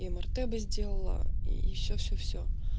и мрт бы сделала и все все все